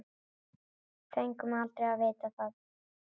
Fengum aldrei að vita það.